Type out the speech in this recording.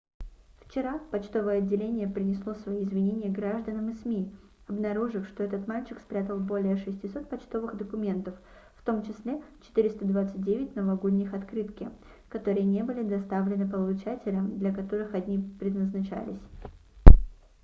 вчера почтовое отделение принесло свои извинения гражданам и сми обнаружив что этот мальчик спрятал более 600 почтовых документов в том числе 429 новогодние открытки которые не были доставлены получателям для которых они предназначались